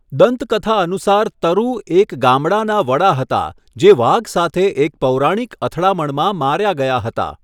દંતકથા અનુસાર તરુ એક ગામડાના વડા હતા જે વાઘ સાથે એક પૌરાણિક અથડામણમાં માર્યા ગયા હતા.